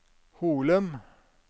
Holum